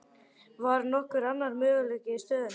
Var nokkur annar möguleiki í stöðunni?